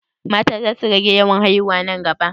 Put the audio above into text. Mata za su rage yawan haiwuna nan gaba?